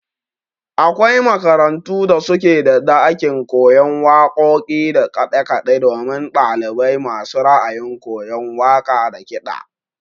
Akwai makarantu da suke da ɗakin koyon waƙoƙi da kaɗe kaɗe domin ɗalibai masu ra'ayin koyan waƙa da kiɗa.